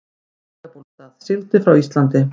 Breiðabólsstað, sigldi frá Íslandi.